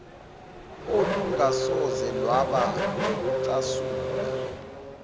olungasoze lwaba nokucasula